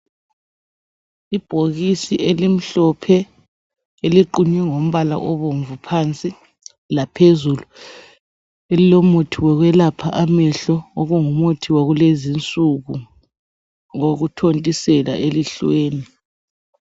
Ibhokisi elimhlophe eliqunywe ngombala obomvu phansi laphezulu lilomuthi wokwelapha amehlo okungumuthi wakulezinsuku wokuthontisela elihlweni.